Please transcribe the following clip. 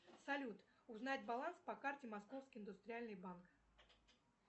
салют узнать баланс по карте московский индустриальный банк